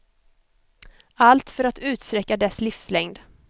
Allt för att utsträcka dess livslängd.